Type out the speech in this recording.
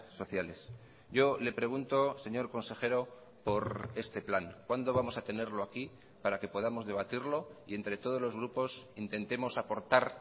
sociales yo le pregunto señor consejero por este plan cuándo vamos a tenerlo aquí para que podamos debatirlo y entre todos los grupos intentemos aportar